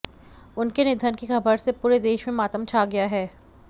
उनके निधन की खबर से पूरे देश में मातम छा गया है